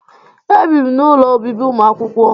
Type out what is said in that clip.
Ebi m n'ụlọ obibi ụmụakwụkwọ